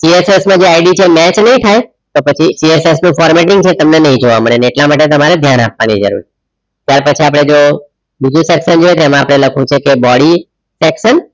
PSS માં જે ID છે એ મેચ નહીં થાય પણ પછી PSS નું formatting છે એ તમને નહિ જોવા મળે એટલા માટે તમારે ધ્યાન આપવાની જરૂર છે ત્યાર પછી આપણે જુઓ બીજુ section છે એમાં આપણે લખવું છે કે body section એટલા માટે આપણે અહીંયા